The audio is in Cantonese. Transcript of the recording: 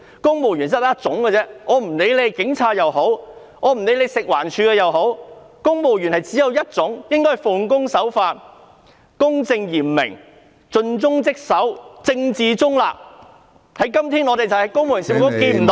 公務員只有一種，不論是警察還是食環署人員，他們必須奉公守法、公正嚴明、盡忠職守，政治中立，但我們看不到......